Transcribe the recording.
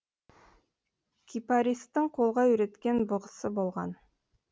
кипаристың қолға үйреткен бұғысы болған